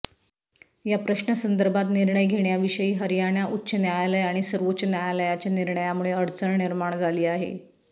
या प्रश्नासंदर्भात निर्णय घेण्याविषयी हरयाणा उच्च न्यायालय आणि सर्वोच्च न्यायालयाच्या निर्णयामुळे अडचण निर्माण झाली आहे